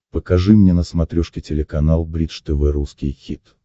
покажи мне на смотрешке телеканал бридж тв русский хит